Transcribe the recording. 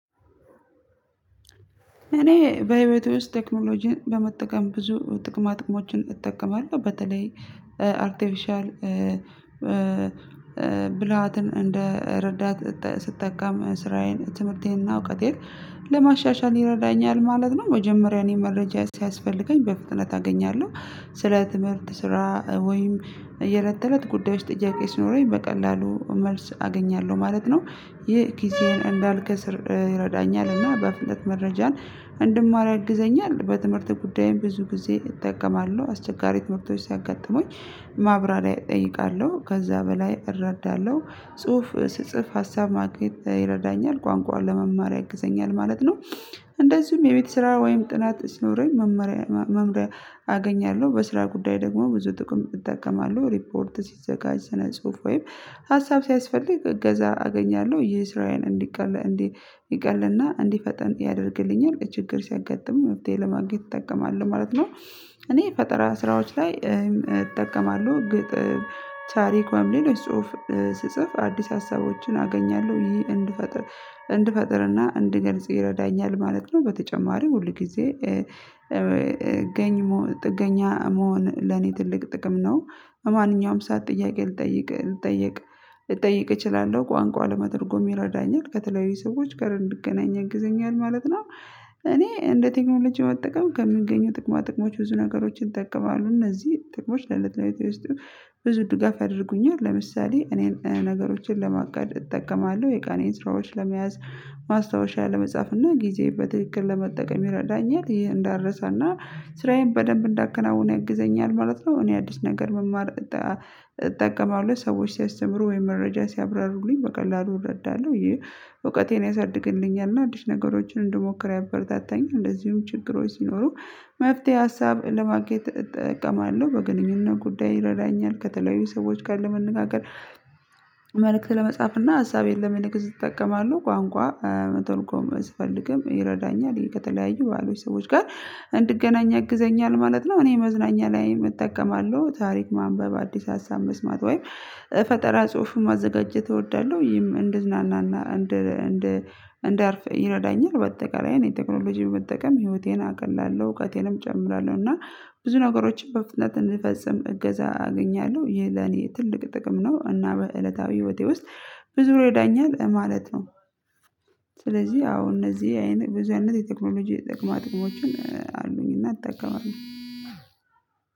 እኔ በህይወቴ ውስጥ ቴክኖሎጂን በመጠቀም ብዙ ጥቅማ ጥቅሞችን እጠቀማለሁ በተለይ አርቲፊሻል ብልሃትን እንደ ረዳት ስጠቀም ስራዬን ትምህርቴንና እውቀቴን ለማሻሻል ይረዳኛል ማለት ነው። መጀመሪያ እኔ መረጃ ሲያስፈልገኝ በፍጥነት አገኛለሁ ስለ ትምህርት ስራ ወይም የእለት ተእለት ጉዳዮች ጥያቄ ሲኖረኝ በቀላሉ መልስ አገኛለሁ ማለት ነው። ይህ ኪሴን እንዳልከስር ይረዳኛል እና በፍጥነት መረጃን እንድማር ያግዘኛል። በትምህርት ጉዳይም ብዙ ጊዜ እጠቀማለሁ አስቸጋሪ ትምህርቶች ሲያጋጥሙኝ ማብራሪያ እጠይቃለሁ ከዛ በላይ እረዳለሁ። ጽሁፍ ስጽፍ ሀሳብ ማግኘት ይረዳኛል ቋንቋውን ለመማር ያግዘኛል ማለት ነው። እንደዚሁም የቤት ስራ ወይም ጥናት ሲኖረኝ መመሪያ አገኛለሁ። በስራ ጉዳይ ደግሞ ብዙ ጥቅም እጠቀማለሁ ሪፖርት ሲዘጋጅ ስነ ጽሁፍ ወይም ሀሳብ ሲያስፈልግ እገዛ አገኛለሁ ይህ ስራዬን እንዲቀል እንዲቀልና እንዲፈጠን ያደርግልኛል ችግር ሲያጋጥም ውጤት ለማግኘት ይጠቀማል ማለት ነው። እኔ ፈጠራ ስራዎች ላይ እጠቀማለሁ ግጥም ታሪክ ወይም ሌሎች ጽሁፍ ስጽፍ አዲስ ሀሳቦችን አገኛለሁ ይሄ እንድፈጥር እንድፈጥርና እንድገልጽ ይረዳኛል ማለት ነው። በተጨማሪም ሁል ጊዜ ጥገኛ መሆን ለኔ ትልቅ ጥቅም ነው። በማንኛውም ሰዓት ጥያቄ ልጠይቅ ልጠይቅ እጠይቅ እችላለሁ ቋንቋ ለመተርጎም ይረዳኛል ከተለያዩ ሰዎች ጋር እንድገናኝ ያግዘኛል ማለት ነው። እኔ እንደ ቴክኖሎጂ መጠቀም ከምገኘው ጥቅማ ጥቅሞች ብዙ ነገሮችን እጠቀማለው እነዚህ ጥቅሞች ለአለታዊ ውስጥ ብዙ ድጋፍ አድርጉኝ። ለምሳሌ እኔን ነገሮችን ለማቀድ እጠቀማለሁ የቀኔን ስራዎች ለመያዝ ማስታወሻ ለመጻፍ እና ጊዜ በትክክል ለመጠቀም ይረዳኛል ይሄን እንዳረሳና ስራዬን በደንብ እንዳከናውን ያግዘኛል ማለት ነው። እኔ አዲስ ነገር መማር እጠቀማለሁ ሰዎች ሲያስተምሩ ወይ መረጃ ሲያብራሩልኝ በቀላሉ እረዳለሁ ይሄ እውቀቴን ያሳድግልኛል እና አዲስ ነገሮችን እንድሞክር ያበረታታኛል። እንደዚሁም ችግሮች ሲኖሩ መፍትሄ ሀሳብ ለማንግኘት እጠቀማለሁ በግንኙነት ጉዳይ ይረዳኛል። ከተለያዩ ሰዎች ጋር ለመነጋገር መልእክት ለመጻፍና ሀሳቤን ለመልእክት እጠቀማለው ቋንቋ መተርጎም ስፈልግም ይረዳኛል ከተለያዩ ካሉ ሰዎች ጋር እንድገናኝ ያግዘኛል ማለት ነው። እኔ መዝናኛ ላይ እጠቀማለሁ ታሪክ ማንበብ አዲስ ሀሳብ መስማት ወይም ፈጠራ ጽሁፍ ማዘጋጀት እወዳለሁ ይህም እንደዝናና እንደ እንደ እንደ እንደ አርፍ ይረዳኛል። በአጠቃላይ እኔ ቴክኖሎጂን መጠቀም ህይወቴን አቅላለሁ እውቀቴንም እጨምራለሁ እና ብዙ ነገሮችን በፍጥነት እንድፈጽም እገዛ አገኛለሁ ይሄ ለኔ ትልቅ ጥቅም ነው። እና በእለታዊ ህይወቴ ውስጥ ብዙ ይረዳኛል ማለት ነው። ስለዚህ አዎ እነዚህ አይነት ብዙ አይነት የቴክኖሎጂ የጥቅማ ጥቅሞችን አሉኝ እና እጠቀማለሁ።